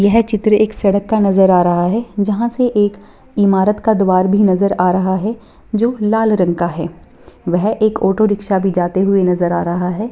यह चित्र एक सड़क का नजर आ रहा है जहाँ से एक इमारत का द्वार भी नजर आ रहा है जो लाल रंग का है। वह एक ऑटो रिक्सा भी जाते हुए नजर आ रहा है।